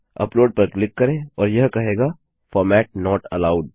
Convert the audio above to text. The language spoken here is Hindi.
अपलोड पर क्लिक करें और यह कहेगा Format नोट एलोव्ड